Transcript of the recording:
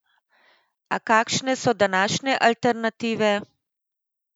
A kakšne so današnje alternative?